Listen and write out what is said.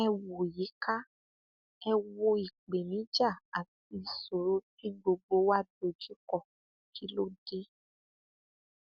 ẹ wo yíká ẹ wo ìpèníjà àti ìṣòro tí gbogbo wa dojúkọ kí ló dé